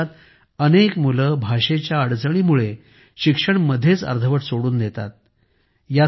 आपल्या देशात अनेक मुलं भाषेच्या अडचणीमुळे शिक्षण मध्येच अर्धवट सोडून देतात